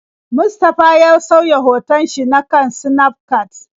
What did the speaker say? Mustafa ya sauya hoton shi na kan Snafcat.